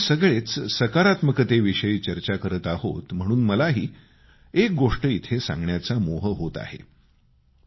आता आपण सगळेच सकारात्मकतेविषयी चर्चा करत आहोत म्हणून मलाही एक गोष्ट इथं सांगण्याचा मोह होत आहे